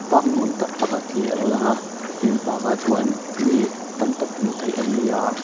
park nuam tak pakhat hi alo lang a tin park ah chuan mi tam tak hmuh theih an ni a.